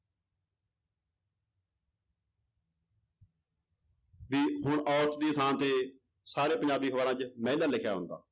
ਵੀ ਹੁਣ ਔਰਤ ਦੀ ਥਾਂ ਤੇ ਸਾਰੇ ਪੰਜਾਬੀ ਅਖ਼ਬਾਰਾਂ ਚ ਮਹਿਲਾ ਲਿਖਿਆ ਹੁੰਦਾ।